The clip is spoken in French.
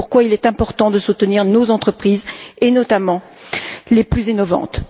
C'est pourquoi il est important de soutenir nos entreprises, et notamment les plus innovantes.